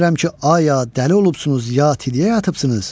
Bilmirəm ki, aya dəli olubsunuz, yatiya yıxılıbsınız.